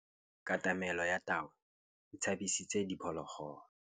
Katamêlô ya tau e tshabisitse diphôlôgôlô.